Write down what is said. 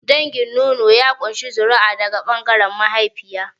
Dangin nono ya ƙunshi zuri'a daga ɓangaren mahaifiya.